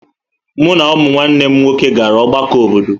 Mụ na ụmụnne m nwoke gara ọgbakọ obodo.